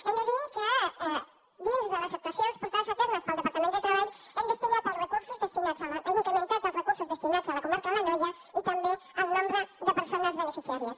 hem de dir que dins de les actuacions portades a terme pel departament de treball hem incrementat els recursos destinats a la comarca de l’anoia i també el nombre de persones beneficiàries